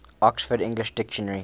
oxford english dictionary